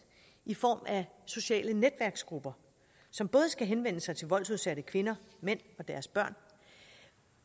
i form af sociale netværksgrupper som både skal henvende sig til voldsudsatte kvinder mænd og deres børn